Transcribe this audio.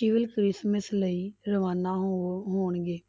Christmas ਲਈ ਰਵਾਨਾ ਹੋ ਹੋਣਗੇ।